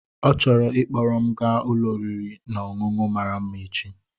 Ọ chọrọ ịkpọrọ m gaa ụlọ oriri na ọṅụṅụ mara mma echi.